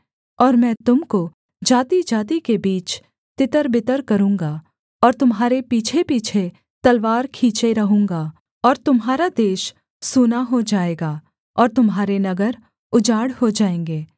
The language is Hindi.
और मैं तुम को जातिजाति के बीच तितरबितर करूँगा और तुम्हारे पीछेपीछे तलवार खींचे रहूँगा और तुम्हारा देश सुना हो जाएगा और तुम्हारे नगर उजाड़ हो जाएँगे